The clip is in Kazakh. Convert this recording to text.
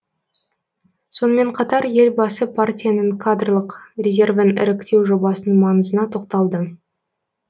сонымен қатар елбасы партияның кадрлық резервін іріктеу жобасының маңызына тоқталды